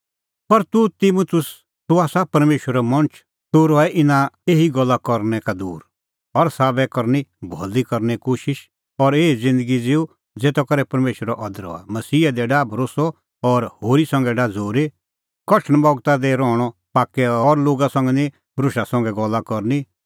पर तूह तिमुतुस तूह आसा परमेशरो मणछ तूह रहै इना एही गल्ला करनै का दूर हर साबै करनी भलै करने कोशिश और एही ज़िन्दगी ज़िऊ ज़ेता करै परमेशरो अदर हआ मसीहा दी डाह भरोस्सअ और होरी संघै डाह झ़ूरी कठण बगता दी रहणअ पाक्कै और लोगा संघै निं रोशा संघै गल्ला करनी